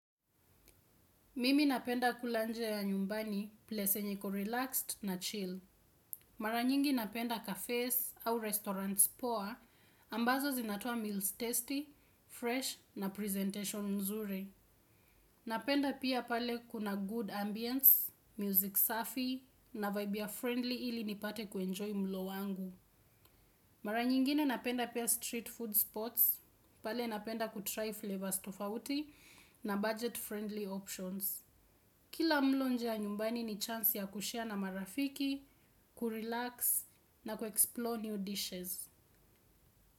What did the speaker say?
Mimi napenda kula nje ya nyumbani, place enye iko relaxed na chill. Mara nyingi napenda cafes au restaurants poa, ambazo zinatoa meals tasty, fresh na presentation nzuri. Napenda pia pale kuna good ambience, music safi na vibe ya friendly ili nipate kuenjoy mlo wangu. Mara nyingine napenda pia street food spots, pale napenda kutry flavors tofauti na budget friendly options. Kila mlo nje ya nyumbani ni chance ya kushare na marafiki, kurelax na kuexplore new dishes.